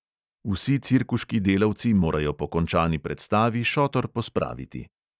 Vsi cirkuški delavci morajo po končani predstavi šotor pospraviti.